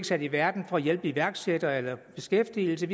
sat i verden for at hjælpe iværksættere eller beskæftigelsen